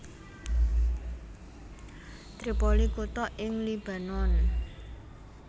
Tripoli kutha ing Libanon